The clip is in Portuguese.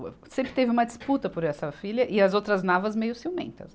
Sempre teve uma disputa por essa filha e as outras Navas meio ciumentas.